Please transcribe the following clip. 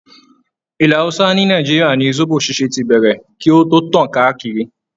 Ilẹ̀ hausa ni Nàìjíríà ni zobo ṣíṣe tí bẹ̀rẹ̀ kí o tó tàn káàkiri.